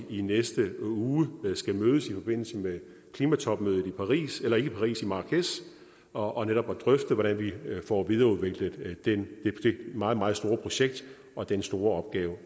i næste uge mødes i forbindelse med klimatopmødet i marrakech og netop drøfte hvordan vi får videreudviklet det meget meget store projekt og den store opgave